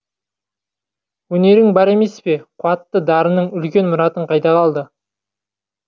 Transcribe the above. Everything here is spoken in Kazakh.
өнерің бар емес пе қуатты дарының үлкен мұратың қайда қалды